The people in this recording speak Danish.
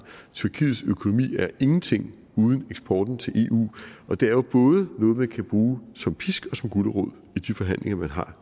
tyrkiets økonomi er ingenting uden eksporten til eu og det er jo både noget man kan bruge som pisk og som gulerod i de forhandlinger man har